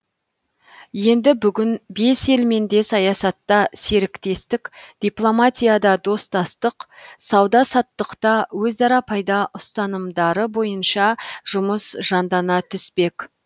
енді бүгін бес елмен де саясатта серіктестік дипломатияда достастық сауда саттықта өзара пайда ұстанымдары бойынша жұмыс жандана түспек